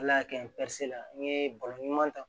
Ala y'a kɛ n n ye balo ɲuman ta